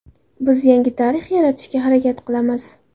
Biz yangi tarix yaratishga harakat qilamiz.